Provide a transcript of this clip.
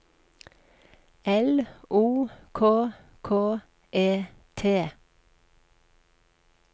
L O K K E T